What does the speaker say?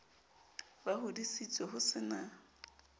ba hodisitswe ho se na